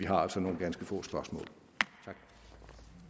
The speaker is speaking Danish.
har nogle ganske få spørgsmål